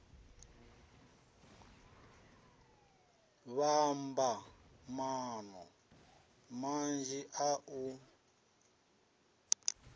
vhamba maano manzhi a u